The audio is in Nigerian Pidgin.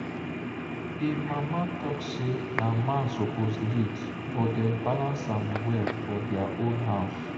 him mama talk say na man suppose lead but dem balance am well for their own house.